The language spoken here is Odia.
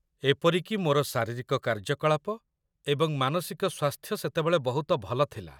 ଏପରିକି ମୋର ଶାରୀରିକ କାର୍ଯ୍ୟକଳାପ ଏବଂ ମାନସିକ ସ୍ୱାସ୍ଥ୍ୟ ସେତେବେଳେ ବହୁତ ଭଲ ଥିଲା।